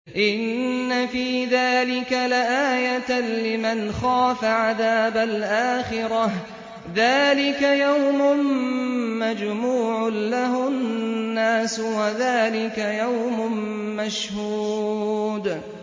إِنَّ فِي ذَٰلِكَ لَآيَةً لِّمَنْ خَافَ عَذَابَ الْآخِرَةِ ۚ ذَٰلِكَ يَوْمٌ مَّجْمُوعٌ لَّهُ النَّاسُ وَذَٰلِكَ يَوْمٌ مَّشْهُودٌ